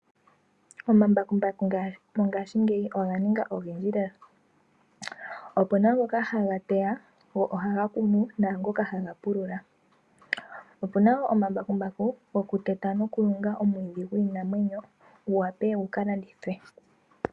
Omambakumbaku mongaashingeyi oga ninga ogendji lela . Opu na ngoka haga teya go ohaga kunu naangoka haga pulula . Opu na omambakumbaku goku teta nokulunga omwiidhi gwiinamwenyo gu wape gu landithwe.